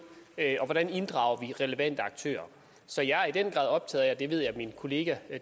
hvordan inddrager relevante aktører så jeg er i den grad optaget af jeg ved at min kollega